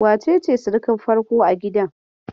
Wa ce ce surukar farko a gidan?